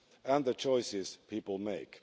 and the choices people make.